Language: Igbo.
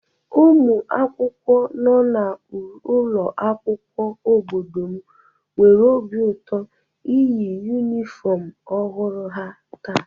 Ụmụ akwụkwọ nọ n'ụlọ akwụkwọ obodo m nwere obi ụtọ iyi yunifọmụ ọhụrụ ha taa.